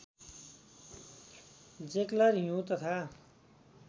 जेक्लर हिउँ तथा